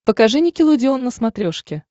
покажи никелодеон на смотрешке